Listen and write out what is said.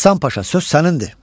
Həsən Paşa, söz sənindir.